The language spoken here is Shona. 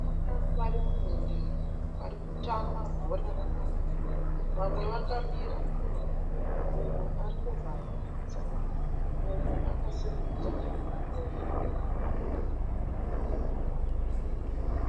Vakomana vari munhandare vari kutamba bhora ramaoko vamwe vakamira mumwe ari kuvhariridza mumwe akasimudza maoko.